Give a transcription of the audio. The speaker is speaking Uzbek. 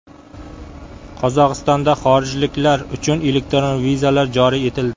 Qozog‘istonda xorijliklar uchun elektron vizalar joriy etildi.